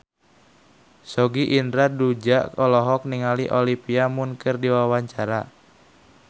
Sogi Indra Duaja olohok ningali Olivia Munn keur diwawancara